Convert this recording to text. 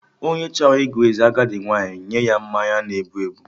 Onye chọrọ ịgụ eze agadi nwaanyị nye ya mmanya na-ebu ebu